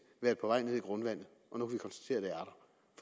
været på vej ned i grundvandet og nu kan